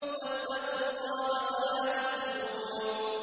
وَاتَّقُوا اللَّهَ وَلَا تُخْزُونِ